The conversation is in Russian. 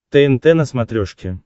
тнт на смотрешке